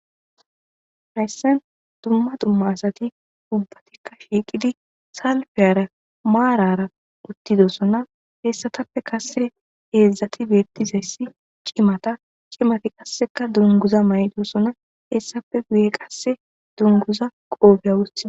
nayssan dumma dumma asati ubbatikka shiiqidi salfeyara maarara uttidossona hessatappe kase eedzdzati beettizayssi cimata cimati qasseka dunguza may7dosona hessape guye qasse dunguza qoobiya wostha.